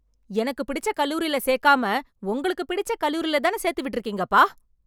எனக்கு பிடிச்ச கல்லூரில சேர்க்காம, உங்களுக்கு பிடிச்ச கல்லூரிலதான சேர்த்துவிட்ருக்கீங்கப்பா...